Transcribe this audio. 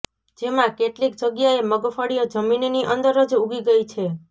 જેમાં કેટલીક જગ્યાએ મગફળી જમીનની અંદર જ ઉગી ગઈ છે